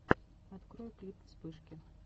открой клип вспышки